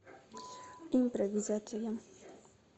импровизация